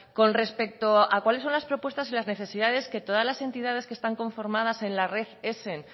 con respecto a cuáles son las propuestas y las necesidades que todas las entidades que están conformadas en la red esen